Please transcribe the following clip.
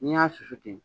N'i y'a susu ten